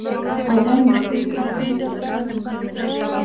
Að venju geymdi hann hendurnar ofan í buxnavösunum.